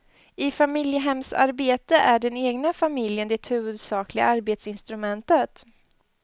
I familjehemsarbete är den egna familjen det huvudsakliga arbetsinstrumentet.